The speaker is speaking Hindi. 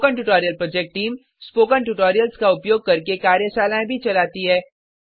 spoken tutorial project team spoken tutorials का उपयोग करके कार्यशालाएं चलाती है